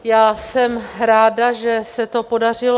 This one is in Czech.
Já jsem ráda, že se to podařilo.